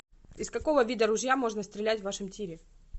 из какого вида ружья можно стрелять в вашем тире